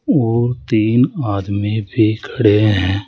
और तीन आदमी भी खड़े हैं।